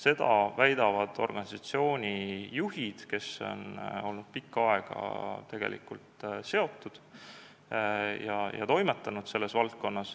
Seda väidavad organisatsiooni juhid, kes on olnud valdkonnaga pikka aega seotud ja seal toimetanud.